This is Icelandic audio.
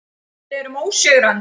Við erum ósigrandi.